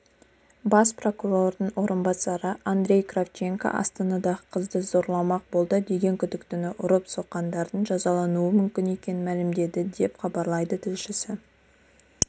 бас прокурордың орынбасары андрей кравченко астанадағы қызды зорламақ болды деген күдіктіні ұрып-соққандардың жазалануы мүмкін екенін мәлімдеді деп хабарлайды тілшісі